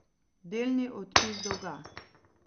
Delni odpis dolga.